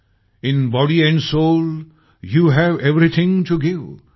in body and soul you have everything to give